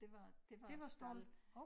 Det var det var æ stald